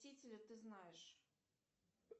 ты знаешь